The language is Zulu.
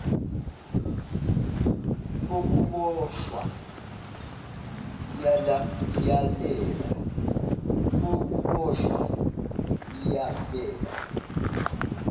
kokubosh wa iyalela